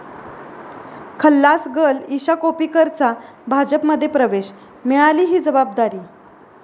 खल्लास girl' Isha कोप्पीकरचा भाजपमध्ये प्रवेश, मिळाली 'ही' जबाबदारी